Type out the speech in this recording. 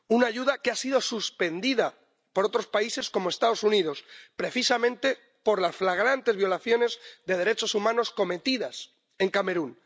Una ayuda que ha sido suspendida por otros países como los Estados Unidos, precisamente por las flagrantes violaciones de derechos humanos cometidas en Camerún.